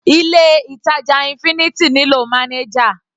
Ilé ìtàjà infinity nílò manager.